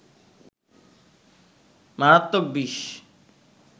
মারাত্মক বিষ